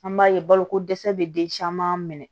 An b'a ye baloko dɛsɛ bɛ den caman minɛ